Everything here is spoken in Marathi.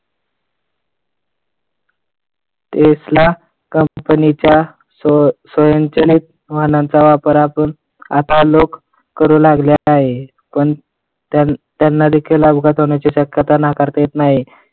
Tesla company च्या स्व स्वयंचलित वाहनाचा वापर आता लोक करू लागले आहे. त्यांना देखील अपघाताची शक्यता नाकारता येत नाही.